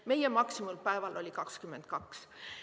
Meie maksimumpäeval oli 22.